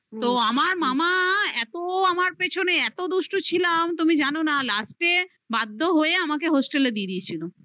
তো আমার মামা এত আমার পেছনে এত দুষ্টু ছিলাম তুমি জানো না last এ বাধ্য হয়ে আমাকে hostel এ দিয়ে দিয়েছিল